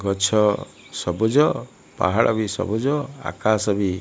ଗଛ ସବୁଜ ପାହାଡ଼ ବି ସବୁଜ ଆକାଶ ବି --